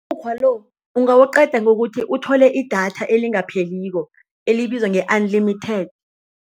Umukghwa lo ugawuqeda ngokuthi uthole idatha elingapheliko elibizwa nge-unlimited.